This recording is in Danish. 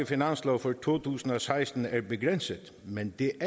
finanslov for to tusind og seksten er begrænsede men det